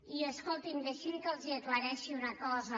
i escoltin deixin me que els aclareixi una cosa